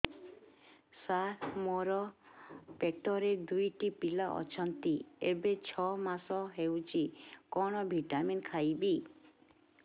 ସାର ମୋର ପେଟରେ ଦୁଇଟି ପିଲା ଅଛନ୍ତି ଏବେ ଛଅ ମାସ ହେଇଛି କଣ ଭିଟାମିନ ଖାଇବି